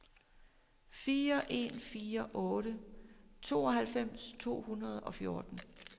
fire en fire otte tooghalvfems to hundrede og fjorten